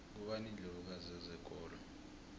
ngubani indlovu kazi yezokolo